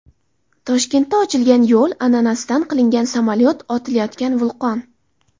Toshkentda ochilgan yo‘l, ananasdan qilingan samolyot, otilayotgan vulqon.